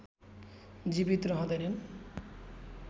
जीवित रहँदैनन्